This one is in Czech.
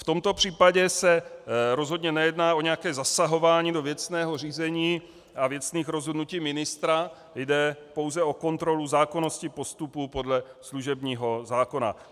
V tomto případě se rozhodně nejedná o nějaké zasahování do věcného řízení a věcných rozhodnutí ministra, jde pouze o kontrolu zákonnosti postupu podle služebního zákona.